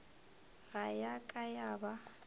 ga ya ka ya ba